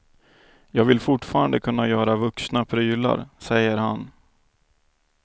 Jag vill fortfarande kunna göra vuxna prylar, säger han.